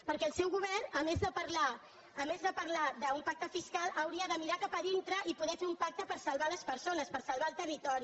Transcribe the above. perquè el seu govern a més de parlar d’un pacte fiscal hauria de mirar cap a dintre i poder fer un pacte per salvar les persones per salvar el territori